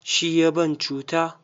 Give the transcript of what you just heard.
Shi ya ban cuta.